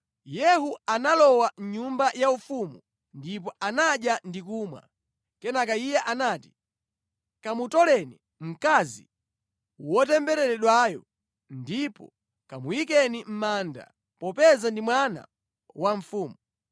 Yehu analowa mʼnyumba yaufumu ndipo anadya ndi kumwa. Kenaka iye anati, “Kamutoleni mkazi wotembereredwayo, ndipo kamuyikeni mʼmanda, popeza ndi mwana wa mfumu.”